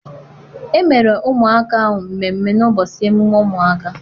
Emere ụmụaka ahụ mmemmé n'ụbọchị emume ụmụaka.